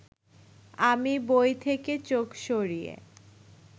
আমি বই থেকে চোখ সরিয়ে